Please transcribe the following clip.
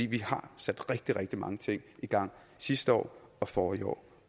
vi har sat rigtig rigtig mange ting i gang sidste år og forrige år